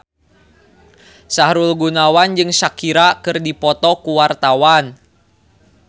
Sahrul Gunawan jeung Shakira keur dipoto ku wartawan